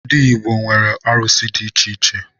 Ndi Igbo nwere arụsi ̣ di icheiche